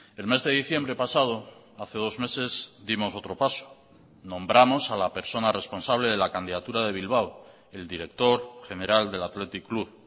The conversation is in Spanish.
el mes de diciembre pasado hace dos meses dimos otro paso nombramos a la persona responsable de la candidatura de bilbao el director general del athletic club